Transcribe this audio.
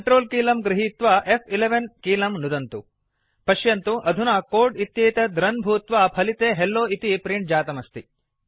Ctrl कीलं गृहीत्वा फ्11 कीलं नुदन्तु पश्यन्तु अधुना कोड् इत्येतत् रन् भूत्वा फलिते हेल्लो इति प्रिंट् जातमस्ति